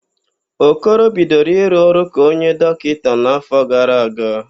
Okoro bidoro ịrụ ọrụ ka onye dọkịta n'áfọ̀ gara aga.